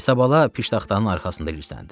İsabala piştaxtanın arxasında ilısləndi.